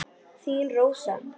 Þín Rósa.